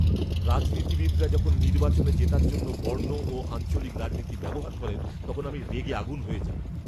রাজনীতিবিদরা যখন নির্বাচনে জেতার জন্য বর্ণ ও আঞ্চলিক রাজনীতি ব্যবহার করেন, তখন আমি রেগে আগুন হয়ে যাই।